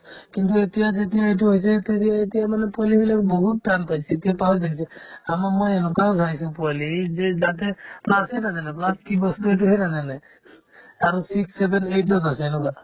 কিন্তু এতিয়া যেতিয়া এইটো এতিয়া মানে পঢ়িবলৈ বহুত টান পাইছে এতিয়া দেখিছে আমাৰ মই এনেকুৱাও পাইছো পোৱালি যে তাহাঁতে plus য়ে নাজানে plus কি বস্তু সেইটোয়ে নাজানে আৰু six, seven, eight তত আছে এনেকুৱা